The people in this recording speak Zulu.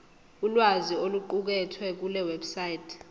ulwazi oluqukethwe kulewebsite